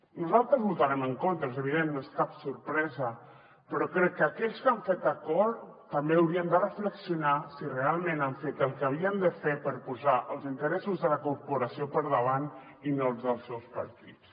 nosaltres hi votarem en contra és evident no és cap sorpresa però crec que aquells que han fet acord també haurien de reflexionar si realment han fet el que havien de fer per posar els interessos de la corporació per davant i no els dels seus partits